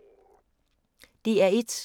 DR1